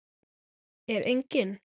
Er enginn?